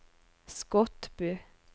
Skotbu